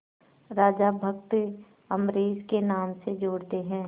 राजा भक्त अम्बरीश के नाम से जोड़ते हैं